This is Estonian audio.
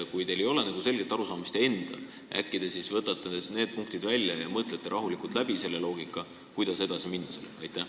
Kui teil endal ei ole sellest selget arusaamist, äkki siis võtate need punktid välja ja mõtlete rahulikult läbi selle loogika, kuidas edasi minna?